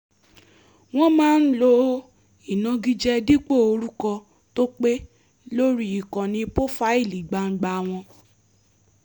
wọ́n máa ń lo ìnágije dípò orúkọ tó pé lórí ìkànnì pófáìlì gbangba wọn